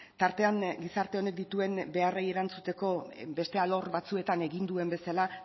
tartean gizarte honek dituen beharrei erantzuteko beste alor batzuetan egin duen bezala